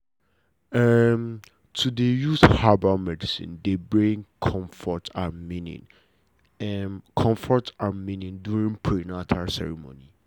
to dey use herbal medicine dey bring comfort and meaning during prenata ceremony